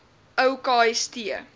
ou kst